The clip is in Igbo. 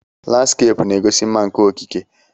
Landskeepụ na-egosi mma nke okike.